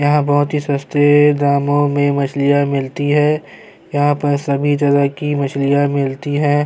یہاں بہت سستے داموں میں مچھلیاں ملتی ہیں- یہاں سبھی جگہ کی مچھلیاں ملتی ہیں-